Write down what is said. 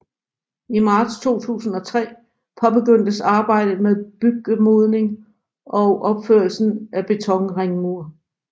I marts 2003 påbegyndtes arbejdet med byggemodning og opførelse af betonringmur